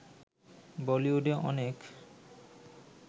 বলিউডে অনেক